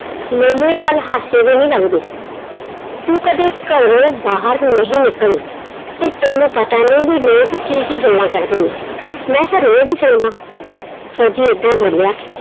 ਮੈਨੂੰ ਇਹ ਗੱਲ ਹਾਸੇ ਦੀ ਨਈ ਲੱਗਦੀ। ਤੂੰ ਕਦੇ ਘਰੋਂ ਬਾਹਰ ਨਹੀਂ ਨਿਕਲੀ ਤੇ ਤੈਨੂੰ ਪਤਾ ਨਈ ਵੀ ਲੋਕ ਕੀ ਕੀ ਗੱਲਾਂ ਕਰਦੇ ਨੇ, ਮੈਂ ਤਾਂ ਰੋਜ਼ ਹੀ ਸੁਣਦਾ, ਫੌਜੀ ਏਦਾਂ ਬੋਲਿਆ